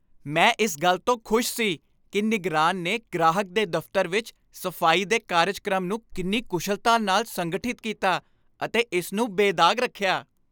ਮੈਂ ਇਸ ਗੱਲ ਤੋਂ ਖੁਸ਼ ਸੀ ਕਿ ਨਿਗਰਾਨ ਨੇ ਗ੍ਰਾਹਕ ਦੇ ਦਫ਼ਤਰ ਵਿੱਚ ਸਫ਼ਾਈ ਦੇ ਕਾਰਜਕ੍ਰਮ ਨੂੰ ਕਿੰਨੀ ਕੁਸ਼ਲਤਾ ਨਾਲ ਸੰਗਠਿਤ ਕੀਤਾ ਅਤੇ ਇਸ ਨੂੰ ਬੇਦਾਗ਼ ਰੱਖਿਆ।